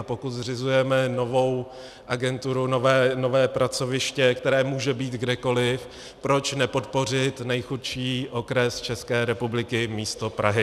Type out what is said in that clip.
A pokud zřizujeme novou agenturu, nové pracoviště, které může být kdekoliv, proč nepodpořit nejchudší okres České republiky místo Prahy?